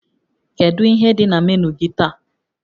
Kedu ihe dị na menu gị taa?